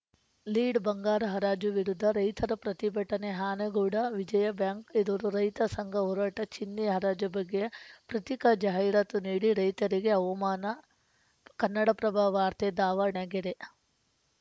lead ಬಂಗಾರ ಹರಾಜು ವಿರುದ್ಧ ರೈತರ ಪ್ರತಿಭಟನೆ ಆನಗೋಡು ವಿಜಯಾ ಬ್ಯಾಂಕ್‌ ಎದುರು ರೈತ ಸಂಘ ಹೋರಾಟ ಚಿನ್ನೆ ಹರಾಜು ಬಗ್ಗೆ ಪತ್ರಿಕಾ ಜಾಹಿರಾತು ನೀಡಿ ರೈತರಿಗೆ ಅವಮಾನ ಕನ್ನಡಪ್ರಭವಾರ್ತೆ ದಾವಣಗೆರೆ